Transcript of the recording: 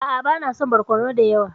A'a bana son barkono dayawa.